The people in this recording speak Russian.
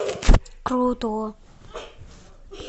круто